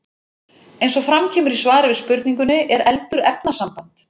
Eins og fram kemur í svari við spurningunni Er eldur efnasamband?